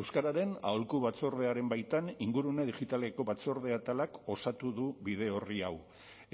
euskararen aholku batzordearen baitan ingurune digitaleko batzorde atalak osatu du bide orri hau